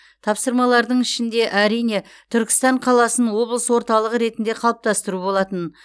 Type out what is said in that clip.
тапсырмалардың ішінде әрине түркістан қаласын облыс орталығы ретінде қалыптастыру болатын